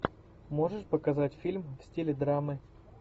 можешь показать фильм в стиле драмы